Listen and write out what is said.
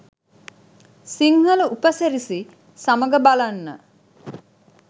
සිංහල උපසිරැසි සමඟ බලන්න